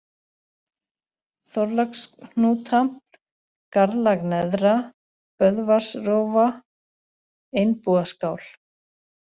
Þorlákshnúta, Garðlag neðra, Böðvarsrófa, Einbúaskál